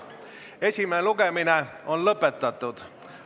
Esimene lugemine on lõppenud.